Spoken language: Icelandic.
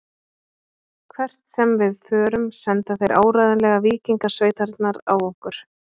Hvert sem við förum senda þeir áreiðanlega víkingasveitirnar á okkur.